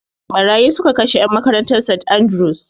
Ɓarayi su ka kashe en makarantan St Andrews